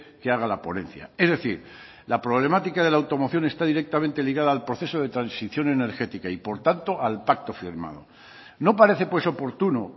que haga la ponencia es decir la problemática de la automoción está directamente ligada al proceso de transición energética y por tanto al pacto firmado no parece pues oportuno